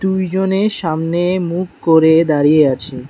দুইজনে সামনে মুখ করে দাঁড়িয়ে আছে।